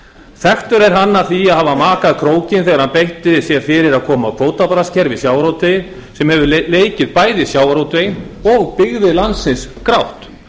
þekktur er hann að því að hafa makað krókinn þegar hann beitti sér fyrir að koma á kvótabraskskerfi í sjávarútvegi sem hefur leikið bæði sjávarútveginn og byggðir landsins grátt